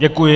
Děkuji.